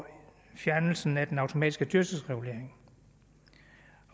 fjernelsen af den automatiske dyrtidsregulering